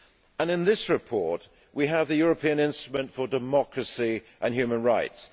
And in this report we have the European instrument for democracy and human rights.